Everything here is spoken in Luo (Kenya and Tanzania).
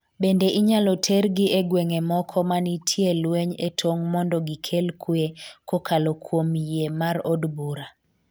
bende inyalo tergi e gweng'e moko manitie lweny e tong' mondo gikel kwe kokalo kuom yie mar od bura